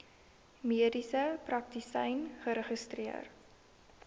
mediese praktisyn geregistreer